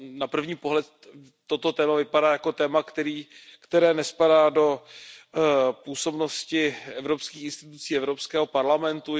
Na první pohled toto téma vypadá jako téma, které nespadá do působnosti evropských institucí, Evropského parlamentu.